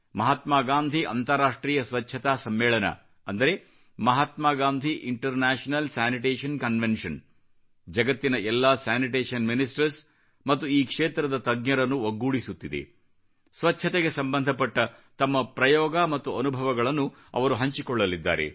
ಮಹಾತ್ಮಾ ಗಾಂಧಿ ಅಂತರಾಷ್ಟ್ರೀಯ ಸ್ವಚ್ಚತಾ ಸಮ್ಮೇಳನ ಅಂದರೆ Mahatma Gandhi international sanitation convention ಜಗತ್ತಿನ ಎಲ್ಲಾ ಸ್ಯಾನಿಟೇಷನ್ ಮಿನಿಸ್ಟರ್ಸ್ ಮತ್ತು ಈ ಕ್ಷೇತ್ರದ ತಜ್ಞರನ್ನು ಒಗ್ಗೊಡಿಸುತ್ತಿದೆ ಸ್ವಚ್ಚತೆಗೆ ಸಂಬಂಧಪಟ್ಟ ತಮ್ಮ ಪ್ರಯೋಗ ಮತ್ತು ಅನುಭವಗಳನ್ನು ಅವರು ಹಂಚಿಕೊಳ್ಳಲಿದ್ದಾರೆ